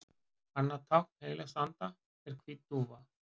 Annað tákn heilags anda er hvít dúfa.